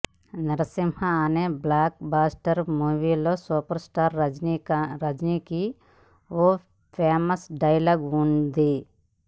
నరసింహ అనే blockbuster మూవీలో superstar రజనికి ఓ ఫేమస్ డైలాగ్ వుంది